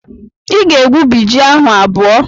Ị ga-egwubi ji ahụ abụọ!